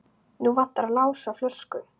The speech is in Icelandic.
Nú vantar Lása flösku.